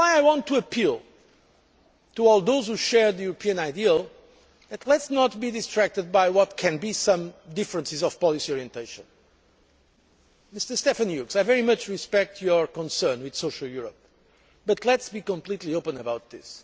That is why I want to appeal to all those who share the European ideal to not let us be distracted by what can be some differences of policy orientation. Mr Hughes, I very much respect your concern with social Europe, but let us be completely open about this.